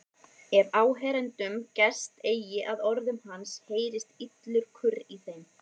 Ef áheyrendum gest eigi að orðum hans heyrist illur kurr í þeim.